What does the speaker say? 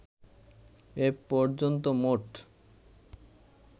এ পর্যন্ত মোট